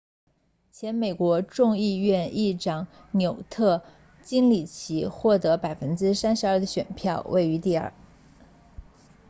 前美国众议院议长纽特金里奇获得 32% 的选票位居第二